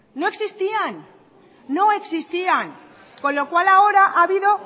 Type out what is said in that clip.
no existían no existían con lo cual ahora ha habido